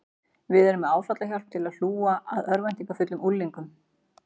Við erum með áfallahjálp til að hlúa að örvæntingarfullum unglingum.